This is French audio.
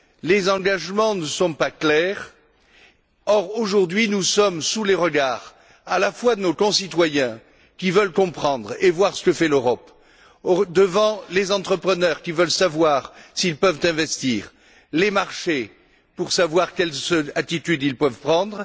Les engagements ne sont pas clairs. Or, aujourd'hui, nous sommes sous les regards à la fois de nos concitoyens, qui veulent comprendre et voir ce que fait l'Europe, des entrepreneurs, qui veulent savoir s'ils peuvent investir, et des marchés, soucieux de savoir quelle attitude prendre.